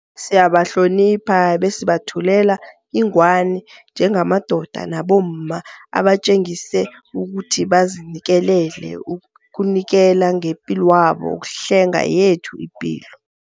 Siyabahlonipha besibethulela ingwani njengamadoda nabomma abatjengise ukuthi bazinikelele ukunikela ngepilwabo ukuhlenga yethu ipilo.